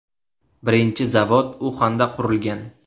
Birinchi zavod Uxanda qurilgan.